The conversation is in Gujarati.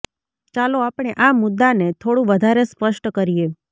ચાલો આપણે આ મુદ્દાને થોડું વધારે સ્પષ્ટ કરીએ